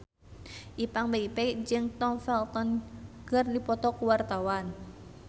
Ipank BIP jeung Tom Felton keur dipoto ku wartawan